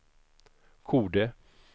Kode